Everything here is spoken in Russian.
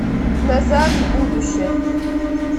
назад в будущее